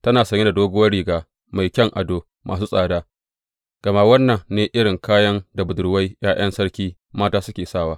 Tana sanye da doguwar riga mai kayan ado masu tsada, gama wannan ne irin kayan da budurwai ’ya’yan sarki mata suke sawa.